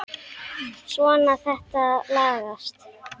Svona, þetta lagast